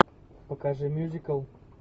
покажи мьюзикл